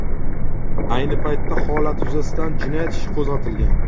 Ayni paytda holat yuzasidan jinoyat ishi qo‘zg‘atilgan.